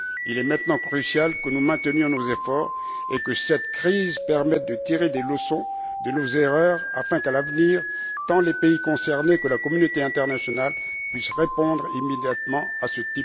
Il est aujourd'hui crucial que nous maintenions nos efforts et que nous tirions de cette crise des leçons de nos erreurs afin qu'à l'avenir, tant les pays concernés que la communauté internationale puissent répondre immédiatement à ce